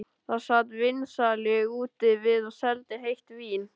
Þar sat vínsali úti við og seldi heitt vín.